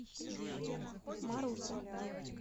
маруся